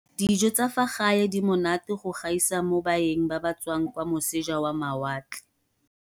Dijo tsa fa gae di monate go gaisa mo baeng ba ba tswang kwa moseja wa mawatle